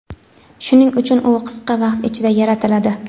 shuning uchun u qisqa vaqt ichida yaratiladi.